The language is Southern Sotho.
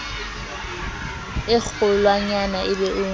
e kgolwanyane e be o